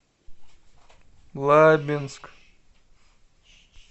лабинск